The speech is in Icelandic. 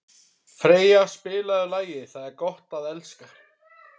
Freyja, spilaðu lagið „Það er gott að elska“.